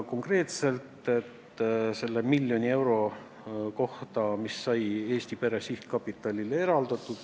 Konkreetselt küsiti selle miljoni euro kohta, mis sai Eesti Pere Sihtkapitalile eraldatud.